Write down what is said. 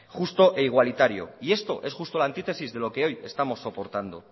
justo e igualitario y esto es justo la antitesis de lo que hoy estamos soportando